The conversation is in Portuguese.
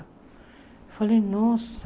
Eu falei, nossa.